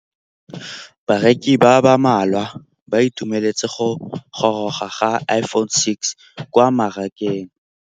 Bareki ba ba malwa ba ituemeletse go gôrôga ga Iphone6 kwa mmarakeng.